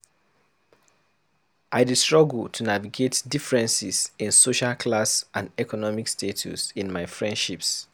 I dey struggle to navigate differences in social class and economic status in my friendships.